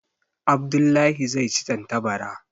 Abdullah zai ci tantabara.